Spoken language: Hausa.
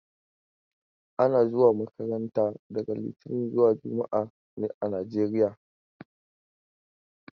Ana zuwa makaranta daga litinin zuwa juma'a ne a Najeriya.